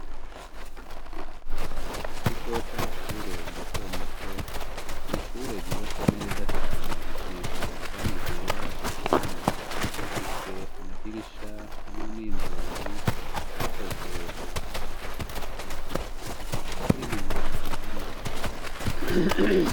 Mu kigo c'amashurey mato mato nishure ryubatse neza cane risize iranga iryera ku ruhome bifise amadirisha hamwe n'inzugi vyakozwe mu bahoze biti bifise n'ibiyo bibona.